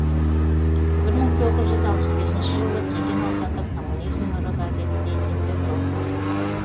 бір мың тоғыз жүз алпыс бесінші жылы кеген аудандық коммунизм нұры газетінде еңбек жолын бастаған